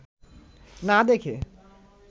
না দেখে